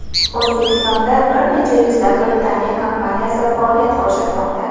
O‘zbekistonda bir necha yuzlab Britaniya kompaniyasi faoliyat ko‘rsatmoqda.